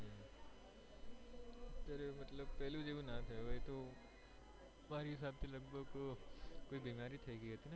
અત્યારે મતલબ પેહલા જેવું ના હોય હવે તો મારા હિસાબ થી એને કોઈ બીમારી થઇ ગઈ હતી ને